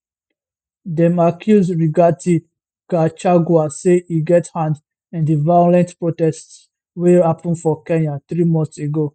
dem accuse rigathi gachagua say e get hand in di violent protests wey happun for kenya three months ago